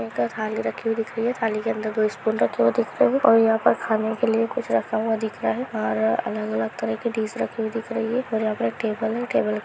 एक थाली रखी हुई दिख रही है थाली के अंदर दो स्पून रखे हुई दिख रहे है और यहां पर खाने के लिए कुछ रखा हुआ दिख रहा है और अलग-अलग तरह के डिश रखे दिख रही है और यहां पर टेबल है। टेबल --